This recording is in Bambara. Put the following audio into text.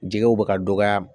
Jɛgɛw bɛ ka dɔgɔya